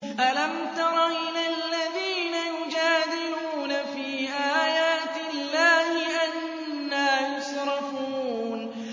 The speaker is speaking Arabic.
أَلَمْ تَرَ إِلَى الَّذِينَ يُجَادِلُونَ فِي آيَاتِ اللَّهِ أَنَّىٰ يُصْرَفُونَ